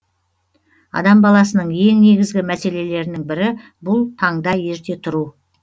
адам баласының ең негізгі мәселелерінің бірі бұл таңда ерте тұру